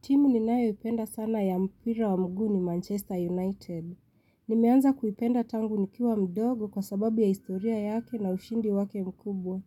Timu ninayoipenda sana ya mpira wa mguu ni Manchester United. Nimeanza kuipenda tangu nikiwa mdogo kwa sababu ya historia yake na ushindi wake mkubwa.